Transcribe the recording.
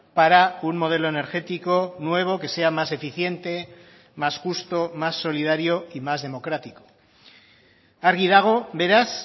para un modelo energético nuevo que sea más eficiente más justo más solidario y más democrático argi dago beraz